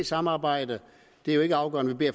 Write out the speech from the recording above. samarbejde det er jo ikke afgørende vi